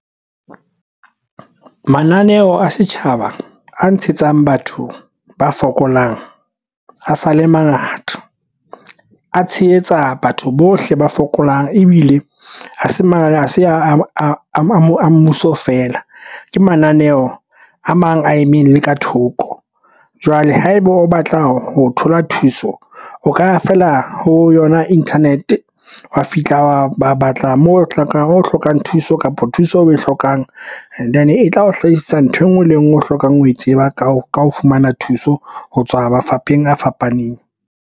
Mananeo a setjhaba a ntshetsang batho ba fokolang a sa le mangata, a tshehetsa batho bohle ba fokolang ebile ha se manane a se a mmuso feela, ke mananeo a mang a emeng ka thoko. Jwale haeba o batla ho thola thuso, o ka ya feela ho yona internet wa fihla wa ba batla moo o hlokang o hlokang thuso kapa thuso oe hlokang. And then e tla o hlahisetsa nthwe ngwe le engwe o hlokang ho e tseba ka ho ka ho fumana thuso ho tswa mafapheng a fapaneng.